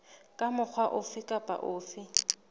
ka mokgwa ofe kapa ofe